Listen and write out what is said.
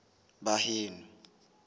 baheno